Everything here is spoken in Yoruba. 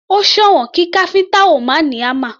Ó sòwọ́n kí káfíntà ó máa ní hámà.